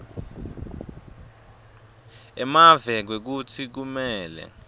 emave kwekutsi kumele